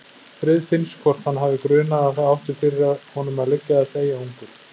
Friðfinns hvort hann hafi grunað að það átti fyrir honum að liggja að deyja ungur.